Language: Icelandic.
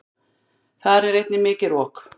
Þar er einnig mikið rok.